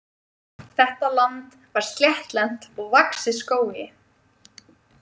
Þetta land var sléttlent og vaxið skógi.